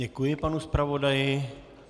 Děkuji panu zpravodaji.